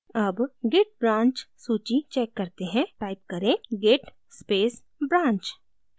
अब git branch सूची check करते हैं टाइप करें git space branch